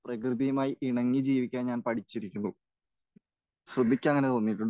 പ്രകൃതിയുമായി ഇണങ്ങി ജീവിക്കാൻ ഞാൻ പഠിച്ചിരിക്കുന്നു. ശ്രുതിക്ക് അങ്ങനെ തോന്നിയിട്ടുണ്ടോ?